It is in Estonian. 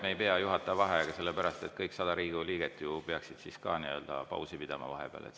Me ei pea juhataja vaheaega võtma, sellepärast et kõik 100 Riigikogu liiget peaksid siis ju ka pausi pidama vahepeal.